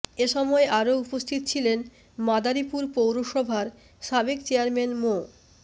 এ সময় আরও উপস্থিত ছিলেন মাদারীপুর পৌরসভার সাবেক চেয়ারম্যান মো